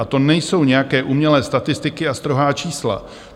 A to nejsou nějaké umělé statistiky a strohá čísla.